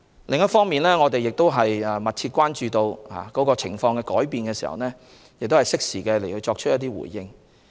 另一方面，我們亦密切關注情況的變化，適時作出回應。